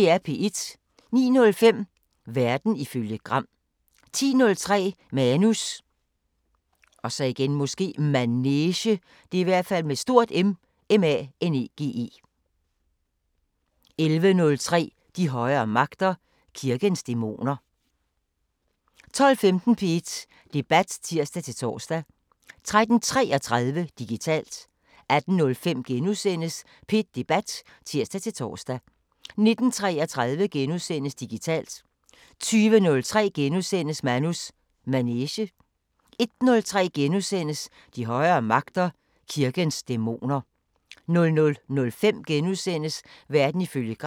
09:05: Verden ifølge Gram 10:03: Manus Manege 11:03: De højere magter: Kirkens dæmoner 12:15: P1 Debat (tir-tor) 13:33: Digitalt 18:05: P1 Debat *(tir-tor) 19:33: Digitalt * 20:03: Manus Manege * 21:03: De højere magter: Kirkens dæmoner * 00:05: Verden ifølge Gram *